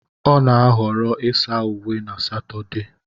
Ọ na-ahọrọ ịsa uwe na Satode